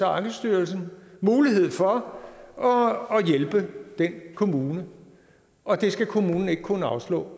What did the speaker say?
ankestyrelsens mulighed for at hjælpe den kommune og det skal kommunen ikke kunne afslå